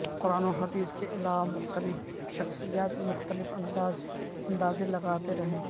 قران و حدیث کے علاوہ مختلف شخصیات مختلف اندازے لگاتے رہے